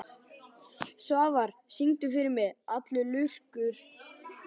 Svafar, syngdu fyrir mig „Allur lurkum laminn“.